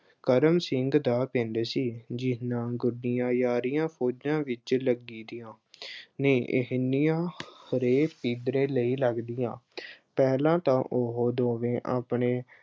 ਕਰਮ ਸਿੰਘ ਦਾ ਪਿੰਡ ਸੀ ਜਿੰਨੀਆਂ ਗੂੜੀਆਂ ਯਾਰੀਆਂ ਫੌਜਾਂ ਵਿੱਚ ਲੱਗਦੀਆਂ ਨੇ, ਇਹਨੀਆਂ ਅਹ ਹਰੇਕ ਕਿੱਧਰੇ ਨਹੀਂ ਲੱਗਦੀਆਂ ਅਹ ਪਹਿਲਾਂ ਤਾਂ ਉਹੋ ਦੋਵੇਂ ਆਪਣੇ